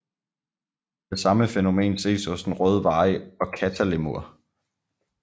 Det samme fænomen ses hos den røde vari og kattalemur